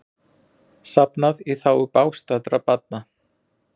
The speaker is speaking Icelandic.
Safnað í þágu bágstaddra barna